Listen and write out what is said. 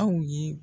Aw ye